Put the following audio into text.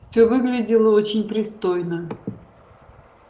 всё выглядело очень пристойно